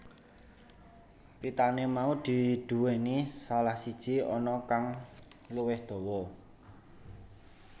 Pitane mau duweni salah siji ana kang luwih dawa